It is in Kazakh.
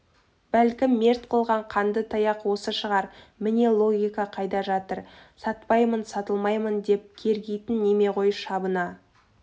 бәлкім мерт қылған қанды таяқ осы шығар міне логика қайда жатыр сатпаймын сатылмаймын деп кергитін неме ғой шабына